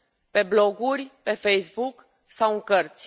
pe bloguri, pe Facebook sau în cărți.